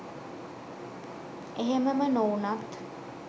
එහෙමම නොවුනත්